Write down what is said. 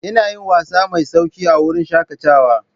Ina yin wasa mai sauƙi a wurin shakatawa.